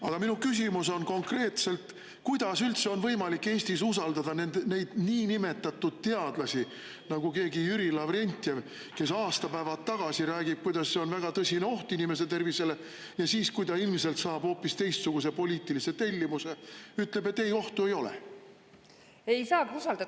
Aga minu küsimus on konkreetne: kuidas üldse on võimalik Eestis usaldada selliseid niinimetatud teadlasi nagu keegi Jüri Lavrentjev, kes aastapäevad tagasi rääkis, kuidas see on väga tõsine oht inimese tervisele, ja siis, kui ta oli ilmselt saanud hoopis teistsuguse poliitilise tellimuse, hakkas ütlema, et ei, ohtu ei ole?